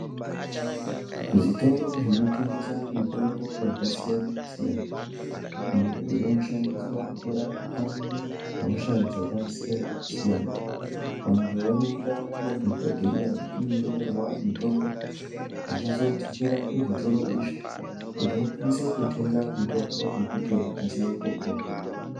Zvitoro zvinotengesa mitombo yakasiyana-siyana iyo inoshandiswa kurapa hosha dzakasiyana-siyana. Vantu vanoenda kuma dhokodheya vechindonyorerwa mitombo vechizodzokera kuzvitoro izvi kuti vakwanise kutenge mitombo yekuti vakasire kupona.